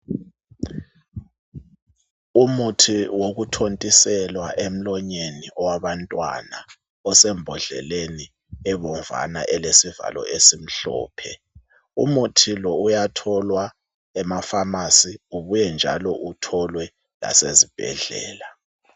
Umuthi wokuthontiselwa emlonweni owabantwana osembhodleleni ebomvana elesivalo esimhlophe umuthi lo uyatholwa emafamasi ubuyenjalo utholwe lasezibhedlela